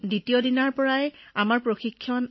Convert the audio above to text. পিছদিনাৰ পৰা আৰম্ভ হল প্ৰশিক্ষণ